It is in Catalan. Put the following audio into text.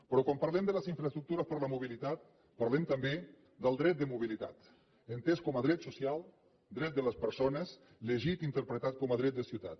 però quan parlem de les infraestructures per a la mobilitat parlem també del dret de mobilitat entès com a dret social dret de les persones llegit interpretat com a dret de ciutat